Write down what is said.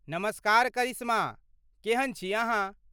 नमस्कार करिश्मा, केहन छी अहाँ?